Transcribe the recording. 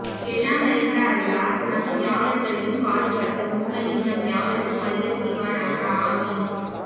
எல்லாம் அறிந்த அல்லாஹ் நம்யாவர்களையும் பாதுகாத்து உண்மையை நம் யாவருக்கும் அரிய செய்வானாக ஆமீன்